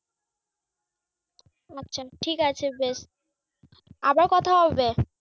আচ্ছা ঠিক আছে বেশ। আবার কথা হবে।